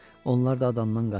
Onlar da adamdan qaçır.